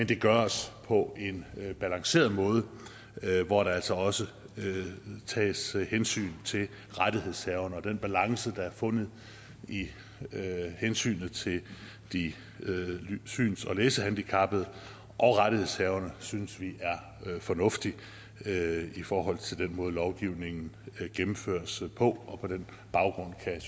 det gøres på en balanceret måde hvor der altså også tages hensyn til rettighedshaverne og den balance der er fundet i hensynet til de syns og læsehandicappede og rettighedshaverne synes vi er fornuftig i forhold til den måde lovgivningen gennemføres på på den baggrund kan